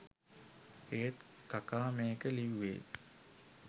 ඒත් කකා මේක ලිව්වෙ